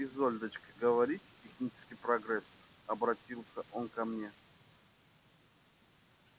вот вы изольдочка говорите технический прогресс обратился он ко мне